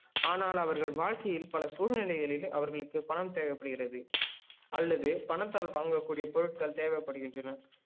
ஆனால் அவர்கள் வாழ்க்கையில் பல சூழ்நிலைகளில் அவர்களுக்கு பணம் தேவைப்படுகிறது அல்லது பணத்தால் வாங்க கூடிய பொருட்கள் தேவைப்படுகின்றன